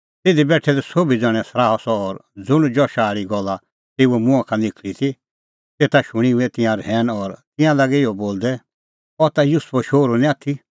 तिधी बेठै दै सोभी ज़ण्हैं सराहअ सह और ज़ुंण जशा आल़ी गल्ला तेऊए मुंहां का निखल़ा ती तेता शूणीं हुऐ तिंयां रहैन और तिंयां लागै इहअ बोलदै अह ता युसुफो शोहरू निं आथी